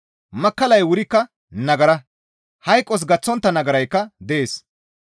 Makkallay wurikka nagara; hayqos gaththontta nagaraykka dees.